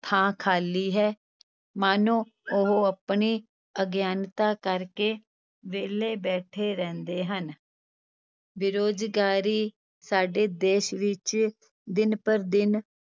ਥਾਂ ਖ਼ਾਲੀ ਹੈ, ਮਾਨੋ ਉਹ ਆਪਣੀ ਅਗਿਆਨਤਾ ਕਰਕੇ ਵਿਹਲੇ ਬੈਠੇ ਰਹਿੰਦੇ ਹਨ ਬੇਰੁਜ਼ਗਾਰੀ ਸਾਡੇ ਦੇਸ ਵਿਚ ਦਿਨ ਭਰ ਦਿਨ